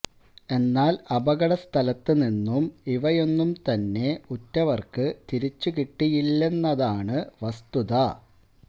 എന്നാല് അപകടസ്ഥലത്ത് നിന്നും ഇവയൊന്നും തന്നെ ഉറ്റവര്ക്ക് തിരിച്ചു കിട്ടിയിട്ടില്ലെന്നതാണ് വസ്തുത